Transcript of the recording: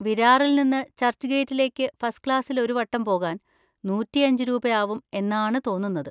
വിരാറിൽ നിന്ന് ചർച്ച്ഗേറ്റിലേക്ക് ഫസ്റ്റ് ക്ലാസ്സിൽ ഒരു വട്ടം പോകാൻ നൂറ്റിയഞ്ച് രൂപ ആവും എന്നാണ് തോന്നുന്നത്.